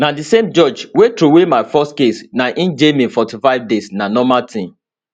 na di same judge wey throway my first case na im jail me 45 days na normal tin